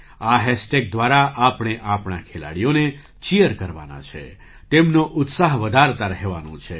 આ હૅશટેગ દ્વારા આપણે આપણા ખેલાડીઓને ચીયર કરવાના છેતેમનો ઉત્સાહ વધારતા રહેવાનો છે